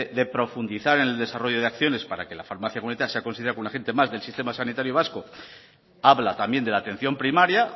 de profundizar en el desarrollo de acciones para que la farmacia comunitaria sea considerada como un agente más del sistema sanitario vasco habla también de la atención primaria